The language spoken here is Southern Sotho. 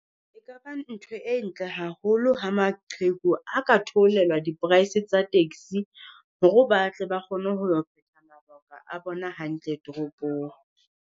E ka ba ntho e ntle haholo, ha maqheku ha ka theolelwa di price tsa taxi, hore batle ba kgone ho phetha mabaka a bona hantle toropong.